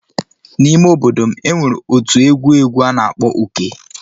N'ime obodo m, e nwere otu egwu egwu a na-akpọ Uke.